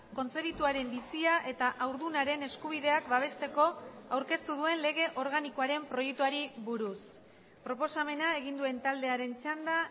kontzebituaren bizia eta haurdunaren eskubideak babesteko aurkeztu duen lege organikoaren proiektuari buruz proposamena egin duen taldearen txanda